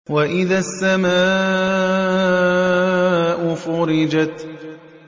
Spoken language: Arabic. وَإِذَا السَّمَاءُ فُرِجَتْ